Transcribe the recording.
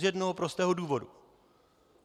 Z jednoho prostého důvodu.